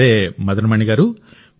సరే మదన్ మణి గారూ